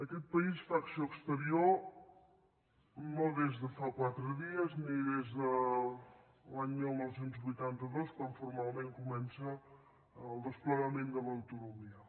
aquest país fa acció exterior no des de fa quatre dies ni des de l’any dinou vuitanta dos quan formalment comença el desplegament de l’autonomia